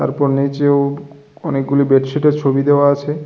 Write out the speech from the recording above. আর ওপর নীচেও অনেকগুলো বেডশিটের ছবি দেওয়া আছে।